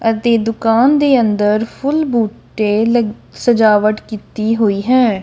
ਅਤੇ ਦੁਕਾਨ ਦੇ ਅੰਦਰ ਫੁਲ ਬੂਟੇ ਲਗ ਸਜਾਵਟ ਕੀਤੀ ਹੋਈ ਹੈ।